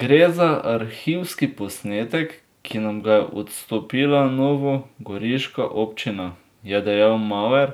Gre za arhivski posnetek, ki nam ga je odstopila novogoriška občina,' je dodal Maver